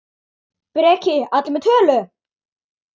Breki: Allir með tölu?